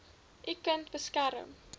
u kind beskerm